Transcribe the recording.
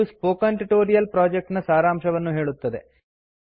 ಇದು spoken tutorial project ನ ಸಾರಾಂಶವನ್ನುಹೇಳುತ್ತದೆ